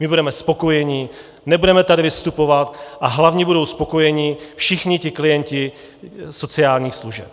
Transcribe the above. My budeme spokojení, nebudeme tady vystupovat a hlavně budou spokojení všichni ti klienti sociálních služeb.